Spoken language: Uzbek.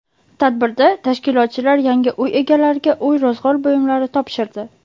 Tadbirda tashkilotchilar yangi uy egalariga uy-ro‘zg‘or buyumlari topshirdi.